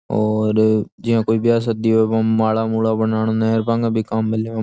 और जियाँ कोई ब्याह शादी और मै माला मूला बनान नै और बांगे भी काम में लेव।